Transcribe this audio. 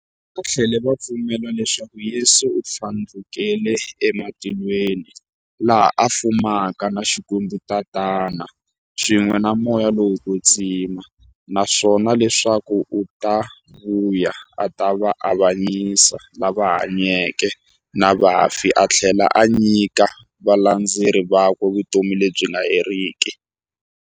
Vathlela va pfumela leswaku Yesu u thlandlukele ematilweni, laha a fumaka na Xikwembu-Tatana, swin'we na Moya lowo kwetsima, naswona leswaku u ta vuya a ta avanyisa lava hanyaka na vafi athlela a nyika valandzeri vakwe vutomi lebyi nga heriki.